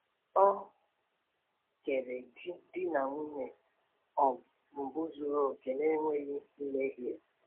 Ọ kere di di na nwunye um mbụ zuru oke, na-enweghị mmehie.